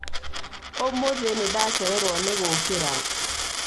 ũmũthĩ nĩ ndacererwo nĩ gũkĩra.